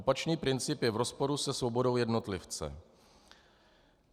Opačný princip je v rozporu se svobodou jednotlivce.